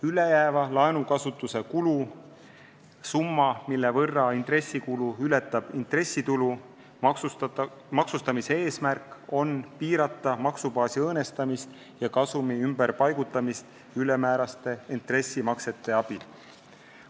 Ülejääva laenukasutuse kulu summa, mille võrra intressikulu ületab intressitulu, maksustamise eesmärk on piirata maksubaasi õõnestamist ja kasumi ümberpaigutamist ülemääraste intressimaksete abil.